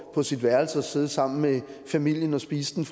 over på sit værelse og sidde sammen med familien og spise den